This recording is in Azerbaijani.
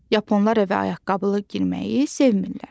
Yaponlar evə ayaqqabılı girməyi sevmir.